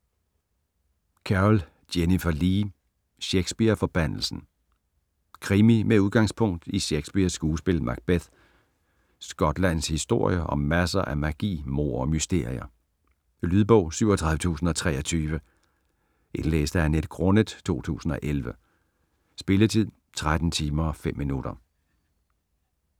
Carrell, Jennifer Lee: Shakespeare-forbandelsen Krimi med udgangspunkt i Shakespeares skuepil Macbeth. Skotlands historie og masser af magi, mord og mysterier. Lydbog 37023 Indlæst af Annette Grunnet, 2011. Spilletid: 13 timer, 5 minutter.